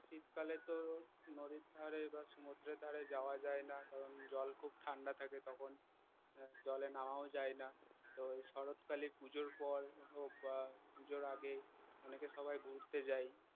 শীতকালে তো নদীর ধারে বা সমদ্রের ধারে যাওয়া যায় না কারণ জল খুব ঠান্ডা থাকে তখন জলে নামাও যায় না তো শরৎ কালে পুজোর পর হোক বা পুজোর আগে অনেকে সবাই ঘুরতে যায়